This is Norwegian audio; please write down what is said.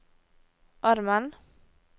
armen